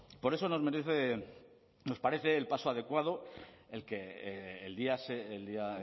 por eso nos merece nos parece adecuado